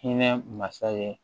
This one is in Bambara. Hinɛ masa ye